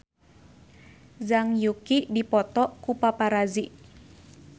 Zhang Yuqi dipoto ku paparazi